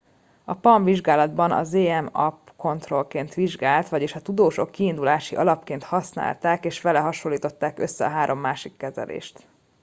a palm vizsgálatban a zmapp kontrollként szolgált vagyis a tudósok kiindulási alapként használták és vele hasonlították össze a három másik kezelést